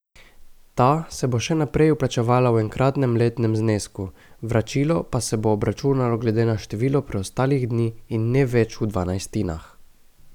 Ta se bo še naprej vplačevala v enkratnem letnem znesku, vračilo pa se bo obračunalo glede na število preostalih dni in ne več v dvanajstinah.